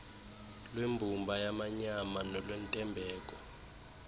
lwembumba yamanyama nolwentembeko